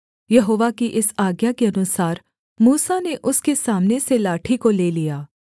यहोवा की इस आज्ञा के अनुसार मूसा ने उसके सामने से लाठी को ले लिया